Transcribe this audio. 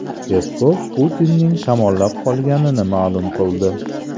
Peskov Putinning shamollab qolganini ma’lum qildi.